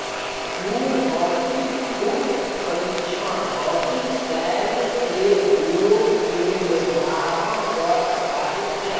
भूभौतिक कूप परीक्षण भौतिक शैल के गुणों के निर्धारण पर आधारित है